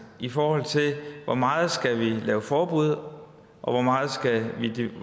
i forhold til hvor meget vi skal lave forbud og